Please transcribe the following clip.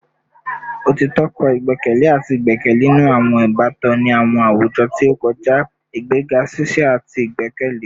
Otitọ kọ igbẹkẹle ati igbẹkẹle ninu awọn ibatan ni awọn awujọ ti o kọja, igbega ṣiṣi ati igbẹkẹle